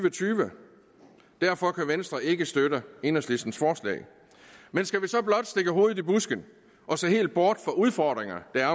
og tyve derfor kan venstre ikke støtte enhedslistens forslag men skal vi så blot stikke hovedet i busken og se helt bort fra de udfordringer der er